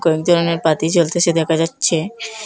অনেক ধরনের বাতি জ্বলতেসে দেখা যাচ্ছে।